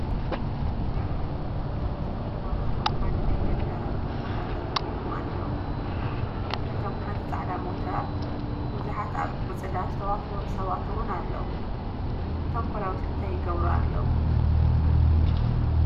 3 ፖላዊስ ኣብ ሓደ ናይ ገጠር ቦታ ጠጠው ኢሎም ኣለው፡፡ ብድሕሪቶም ሓንቲ ፃዕዳ ሞተር፣ ብዙሓት ኣብ ዕፅዳ ዝተዋፈሩ ሰባት ውን ኣለው፡፡ እቶም ፖላዊስ እንታይ ይገብሩ ኣለው?